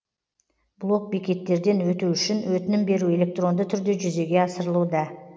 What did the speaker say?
блок бекеттерден өту үшін өтінім беру электронды түрде жүзеге асырылуда